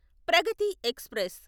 Pragathi express